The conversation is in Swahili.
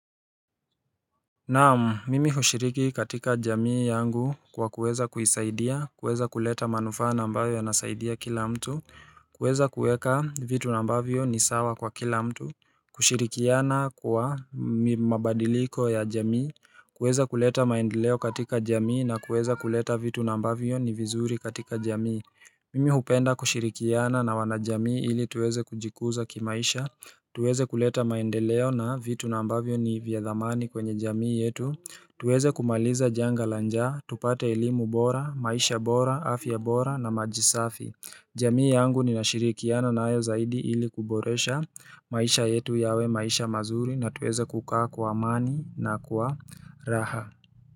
Naam, mimi hushiriki katika jamii yangu kwa kuweza kuisaidia, kuweza kuleta manufaa na ambayo yanasaidia kila mtu, kuweza kuweka vitu na ambavyo ni sawa kwa kila mtu, kushirikiana kwa mabadiliko ya jamii, kuweza kuleta maendeleo katika jamii na kuweza kuleta vitu nambavyo ni vizuri katika jamii Mimi hupenda kushirikiana na wanajamii ili tuweze kujikuza kimaisha, tuweze kuleta maendeleo na vitu na ambavyo ni vya dhamani kwenye jamii yetu, tuweze kumaliza janga la nja, tupate elimu bora, maisha bora, afya bora na majisafi. Jamii yangu ninashirikiana nayo zaidi ili kuboresha maisha yetu yawe maisha mazuri na tuweze kukaa kwa amani na kwa raha.